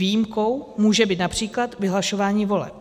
Výjimkou může být například vyhlašování voleb.